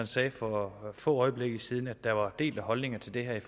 sagde for få øjeblikke siden at der var delte holdninger til det her i